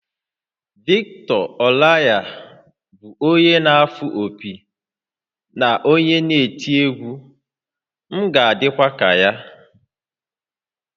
Victor Olaiya bụ onye na-afụ opi na onye eti egwu, m ga-adịkwa ka ya